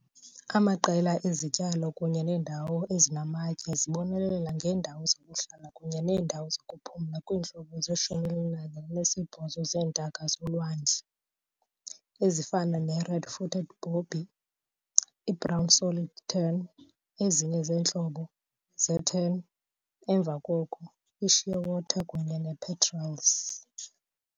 Amaqela ezityalo kunye neendawo ezinamatye zibonelela ngeendawo zokuhlala kunye neendawo zokuphumla kwiintlobo ze-18 zeentaka zolwandle, ezifana ne- Red-footed Booby, i-Brown Stolid Tern, ezinye iintlobo ze-tern, emva koko i-shearwater kunye ne-petrels.